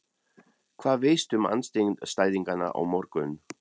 Hvað veistu um andstæðingana á morgun?